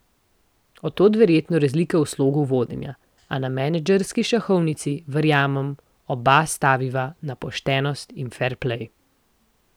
Od tod verjetno razlika v slogu vodenja, a na menedžerski šahovnici, verjamem, oba staviva na poštenost in ferplej.